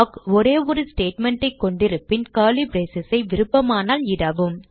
ஒரே ஒரு ஸ்டேட்மெண்ட் கொண்டிருப்பின் கர்லி braces ஐ விருப்பமானால் இடவும்